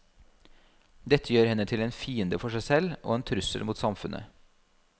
Dette gjør henne til en fiende for seg selv og en trussel mot samfunnet.